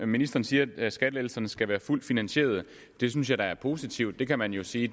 ministeren siger nemlig at skattelettelserne skal være fuldt finansierede det synes jeg da er positivt det kan man jo sige i